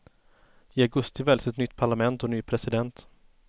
I augusti väljs ett nytt parlament och ny president.